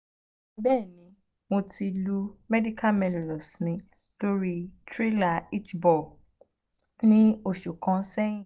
bẹẹni mo ti lu medial malleolus mi lori trailer hitch ball ni oṣu kan oṣu kan sẹyin